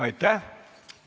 Aitäh!